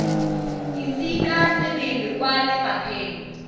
ise ka sebele kwa lefapheng